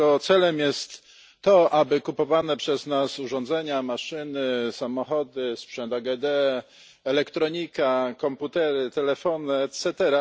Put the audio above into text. Jego celem jest to, aby kupowane przez nas urządzenia, maszyny, samochody, sprzęt AGD, elektronika, komputery, telefony itd.